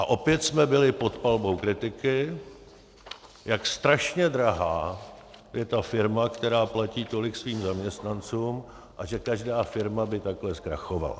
A opět jsme byli pod palbou kritiky, jak strašně drahá je ta firma, která platí tolik svým zaměstnancům, a že každá firma by takhle zkrachovala.